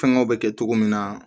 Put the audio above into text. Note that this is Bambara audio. Fɛngɛw bɛ kɛ cogo min na